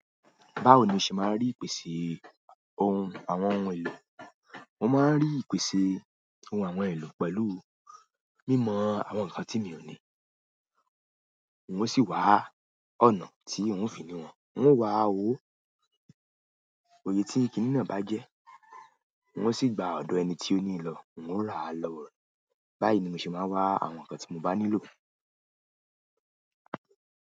Báwo ni o ṣe máa ń rí ìpèsè ohun àwọn ohun èlò? Mo máa ń rí ìpèsè ohun àwọn ohun èlò pẹ̀lú mímọ àwọn ǹkan tí mi ò ní, n o sì wá ọ̀nà tí ń o fi ni wọ́n, ń o wá ówo òye tí kìní náà bá jẹ́, n o sì gba ọ̀dọ̀ ẹni tí ó ní ì lò, ń o rà á lọwo re. Báyìí ni mo se maa n wa àwọn nkan ti mo ba nílò.